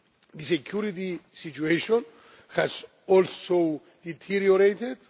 The security situation has also deteriorated.